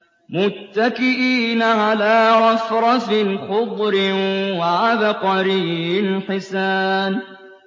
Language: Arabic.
مُتَّكِئِينَ عَلَىٰ رَفْرَفٍ خُضْرٍ وَعَبْقَرِيٍّ حِسَانٍ